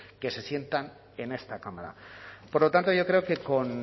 que se sientan en esta cámara por lo tanto yo creo que con